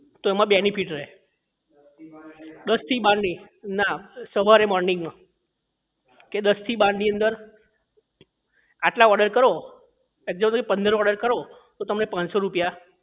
તો એમાં benefit રહે દસ થી બાર ની ના સવારે morning માં કે દસ થી બાર ની અંદર આટલા order કરો તરીકે પંદર order કરો તો તમને પાનસો સો રૂપિયા